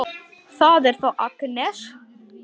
Siðan biðum við félaga okkar.